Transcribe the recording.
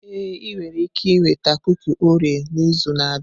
Ee, ị nwere ike ịnweta kuki Orio n'izu na-abịa.